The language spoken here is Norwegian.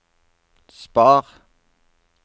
spar